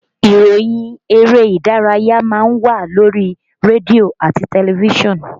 Ìròyìn eré ìdárayá má ń wà lórí rédíò àti tẹlifísàn